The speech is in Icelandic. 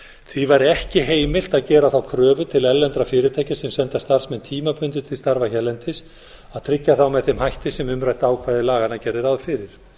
því væri ekki heimilt að gera þá kröfu til erlendra fyrirtækja sem senda starfsmenn tímabundið til starfa hérlendis að tryggja þá með þeim hætti sem umrætt ákvæði laganna gerði ráð fyrir